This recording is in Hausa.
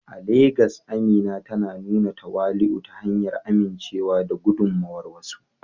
A Legas, Amina tana nuna tawali'u ta hanyar amincewa da gudummawar wasu.